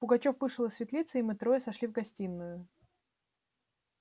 пугачёв вышел из светлицы и мы трое сошли в гостиную